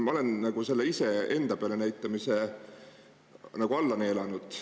Ma olen sellise peale näitamise olen selle nagu alla neelanud.